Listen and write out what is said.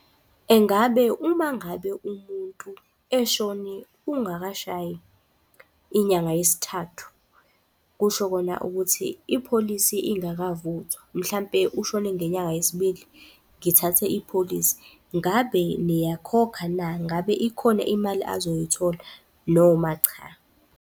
Engabe uma ngabe umuntu eshone kungakashayi inyanga yesithathu, kusho kona ukuthi ipholisi ingakavuthwa, mhlampe ushone ngenyanga yesibili ngithathe ipholisi, ngabe niyakhokha na? Ngabe ikhona imali azoyithola noma cha?